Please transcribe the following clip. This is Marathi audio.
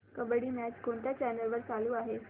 कबड्डी मॅच कोणत्या चॅनल वर चालू आहे